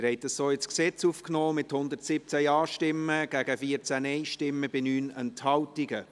Sie haben dies so ins Gesetz aufgenommen, mit 117 Ja- gegen 14 Nein-Stimmen bei 9 Enthaltungen.